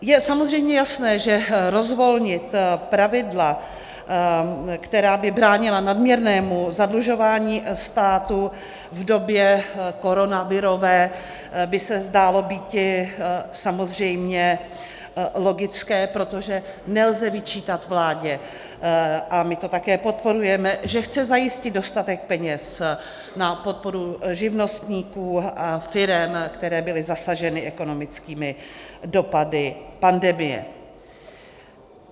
Je samozřejmě jasné, že rozvolnit pravidla, která by bránila nadměrnému zadlužování státu v době koronavirové, by se zdálo býti samozřejmě logické, protože nelze vyčítat vládě, a my to také podporujeme, že chce zajistit dostatek peněz na podporu živnostníků a firem, které byly zasaženy ekonomickými dopady pandemie.